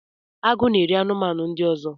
Agụ na-eri anụmanụ ndị ọzọ